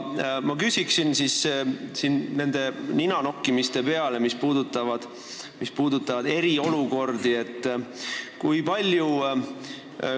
Ma küsin nende ninanokkimiste peale eriolukordade kohta.